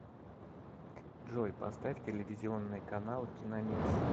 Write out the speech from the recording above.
джой поставь телевизионный канал киномикс